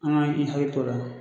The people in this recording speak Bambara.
An ka i hakili tɔ a la.